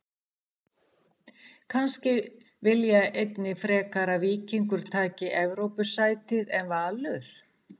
Vilja kannski einnig frekar að Víkingur taki Evrópusætið en Valur?